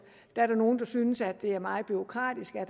nogle der synes at det er meget bureaukratisk at